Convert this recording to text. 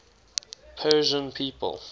persian people